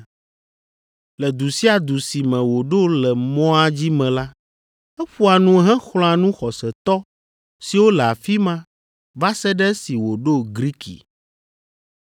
Le du sia du si me wòɖo le mɔa dzi me la, eƒoa nu hexlɔ̃a nu xɔsetɔ siwo le afi ma va se ɖe esi wòɖo Griki.